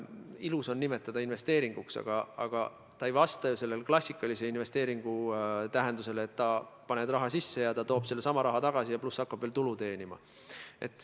Lihtsalt ilus on nimetada seda investeeringuks, aga see ei vasta ju klassikalise investeeringu tähendusele, et paned raha sisse ja see toob sellesama raha tagasi, pluss hakkab veel tulu teenima.